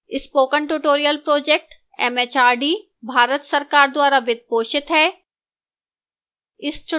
spoken tutorial project mhrd Bharat सरकार द्वारा वित्त पोषित है